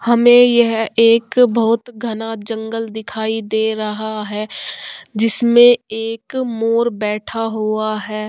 हमें यह एक बोहोत घना जंगल दिखाई दे रहा है । जिसमें एक मोर बैठा हुआ है ।